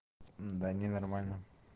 да не нормально